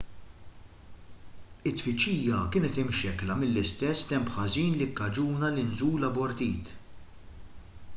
it-tfittxija kienet imxekkla mill-istess temp ħażin li kkaġuna l-inżul abortit